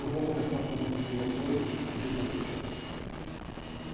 Eu vou conversar com os outros diretores e depois eu te chamo.